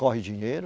Corre dinheiro.